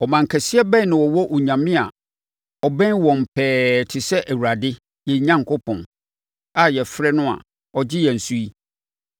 Ɔman kɛseɛ bɛn na ɛwɔ onyame a ɔbɛn wɔn pɛɛ te sɛ Awurade, yɛn Onyankopɔn, a yɛfrɛ no a ɔgye yɛn so yi?